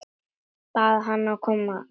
Bað hana að koma strax.